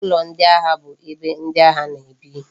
Ulo ndi agha bu ebe ndi agha na ebi